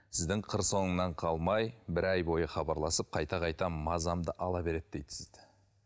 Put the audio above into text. сіздің қыр соңымнан қалай бір ай бойы хабарласып қайта қайта мазамды ала береді дейді сізді